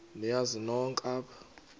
niyazi nonk apha